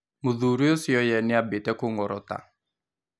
Mũthuri ũcio ye nĩambĩtie kũngórota.